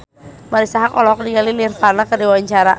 Marisa Haque olohok ningali Nirvana keur diwawancara